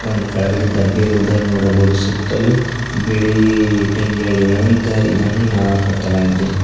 ಒಂದ್ ಕೆಳಗಡೆ ಡಬ್ಬಿ ಇರುವುದನ್ನು ನೋಡಬಹುದು ಸುತ್ತಲು ಬಿಳಿ ಇಟ್ಟಂಗಿ ಹಳಿಗಳಿಂದ ಇದನ್ನು ನ ಕಟ್ಟಲಾಗಿದೆ.